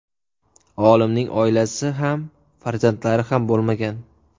Olimning oilasi ham farzandlari ham bo‘lmagan.